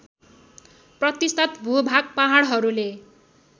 प्रतिशत भूभाग पहाडहरूले